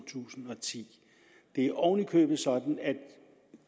tusind og ti det er oven i købet sådan at